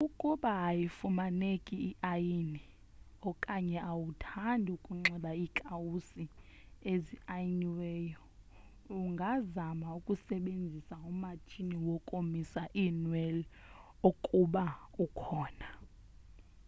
ukuba ayifumaneki iayini okanye awuthandi ukunxiba iikawusi eziayiniweyo ungazama ukusebenzisa umatshini wokomisa iinwele ukuba ukhona